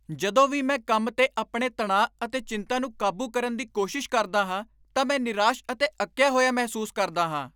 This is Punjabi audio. ਜਦੋਂ ਵੀ ਮੈਂ ਕੰਮ 'ਤੇ ਆਪਣੇ ਤਣਾਅ ਅਤੇ ਚਿੰਤਾ ਨੂੰ ਕਾਬੂ ਕਰਨ ਦੀ ਕੋਸ਼ਿਸ਼ ਕਰਦਾ ਹਾਂ ਤਾਂ ਮੈਂ ਨਿਰਾਸ਼ ਅਤੇ ਅੱਕਿਆ ਹੋਇਆ ਮਹਿਸੂਸ ਕਰਦਾ ਹਾਂ।